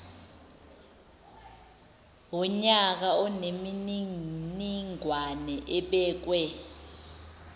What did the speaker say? wonyaka onemininingwane ebekwe